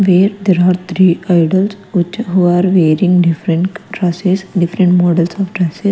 where there are three idols which who are wearing different process different models of dress.